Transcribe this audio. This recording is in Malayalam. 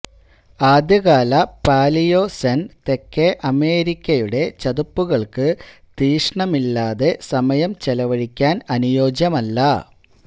ആദ്യകാല പാലിയോസെൻ തെക്കേ അമേരിക്കയുടെ ചതുപ്പുകൾക്ക് തീക്ഷ്ണമില്ലാതെ സമയം ചെലവഴിക്കാൻ അനുയോജ്യമല്ല